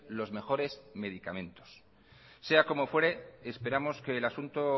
los mejores medicamentos sea como fuere esperamos que el asunto